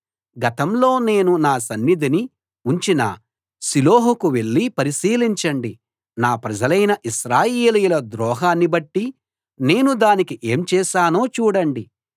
గతంలో నేను నా సన్నిధిని ఉంచిన షిలోహుకు వెళ్లి పరిశీలించండి నా ప్రజలైన ఇశ్రాయేలీయుల ద్రోహాన్ని బట్టి నేను దానికి ఏం చేశానో చూడండి